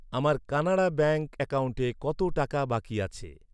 আমার কানাড়া ব্যাঙ্ক অ্যাকাউন্টে কত টাকা বাকি আছে?